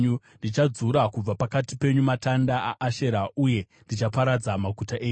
Ndichadzura kubva pakati penyu matanda aAshera uye ndichaparadza maguta enyu.